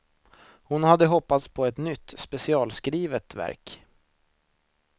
Hon hade hoppats på ett nytt, specialskrivet verk.